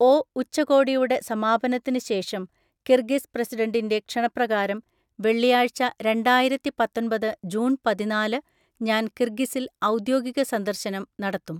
O ഉച്ചകോടിയുടെ സമാപനത്തിന് ശേഷം കിർഗിസ് പ്രസിഡന്റിൻ്റെ ക്ഷണപ്രകാരം വെള്ളിയാഴ്ച രണ്ടായിരത്തിപത്തൊൻപത് ജൂണ് പതിനാല് ഞാൻ കിർഗിസിൽ ഔദ്യോഗിക സന്ദർശനം നടത്തും.